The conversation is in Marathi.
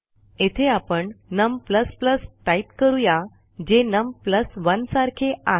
येथे आपण num टाईप करू या जे नम 1 सारखे आहे